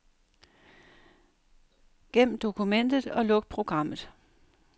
Gem dokumentet og luk programmet.